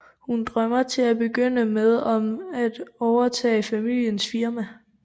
Hun drømmer til at begynde med om at overtage familiens firma